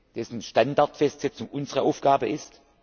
Netz, dessen Standardfestsetzung unsere Aufgabe